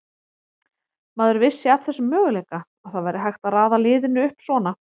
Maður vissi af þessum möguleika, að það væri hægt að raða liðinu upp svona.